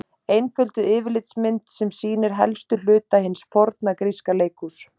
Einfölduð yfirlitsmynd sem sýnir helstu hluta hins forna gríska leikhúss.